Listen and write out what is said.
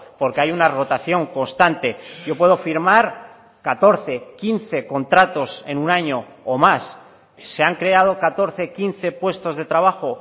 porque hay una rotación constante yo puedo firmar catorce quince contratos en un año o más se han creado catorce quince puestos de trabajo